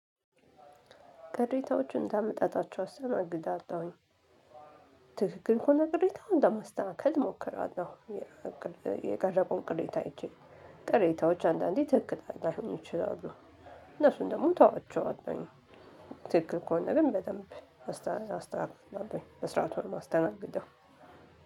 ቅሬታዎችን እንዳመጣጣቸው አስተናግዳለሁኝ። ትክክል ከሆነ ቅሬታው ለማስተካከል እሞክራለሁ። የቀረቡ ቅሬታ አይቼ ቅሬታዎች አንዳንዴ ትክክል ላይሆኑ ይችላሉ። እነሱን ደግሞ እተዋቸዋለሁኝ። ትክክል ከሆነ ግን በደንብ አስተካክላለሁኝ በስርዓቱ ነው የማስተናግደው።